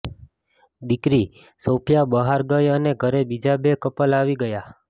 દીકરી સોફ્યિા બહાર ગઈ અને ઘરે બીજાં બે કપલ આવી ગયાં